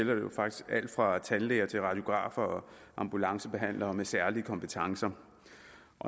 jo faktisk alt fra tandlæger til radiografer og ambulancebehandlere med særlige kompetencer